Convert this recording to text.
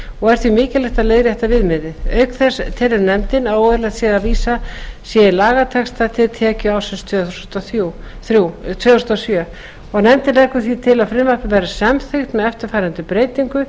og er því mikilvægt að leiðrétta viðmiðið auk þess telur nefndin að óeðlilegt sé að vísað sé í lagatexta til tekjuársins tvö þúsund og sjö nefndin leggur til að frumvarpið verði samþykkt með eftirfarandi breytingu